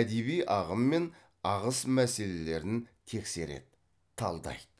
әдеби ағым мен ағыс мәселелерін тексереді талдайды